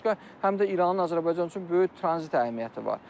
Bundan başqa, həm də İranın Azərbaycan üçün böyük tranzit əhəmiyyəti var.